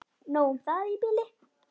Nóg um það í bili.